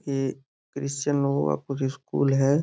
ये क्रिस्चन लोगा का कुछ स्कूल है।